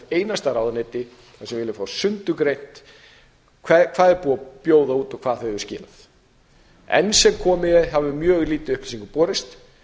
einasta ráðuneyti þar sem við viljum fá sundurgreint hvað er búið að bjóða út og hverju hefur verið skilað enn sem komið er hefur mjög lítið af upplýsingum borist